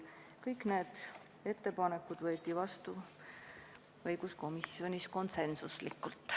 Kõik need otsused võeti õiguskomisjonis vastu konsensuslikult.